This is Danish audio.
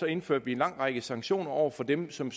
indførte vi en lang række sanktioner over for dem som